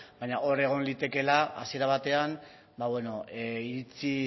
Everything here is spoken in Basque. baina hor egon litekela hasiera batean iritzi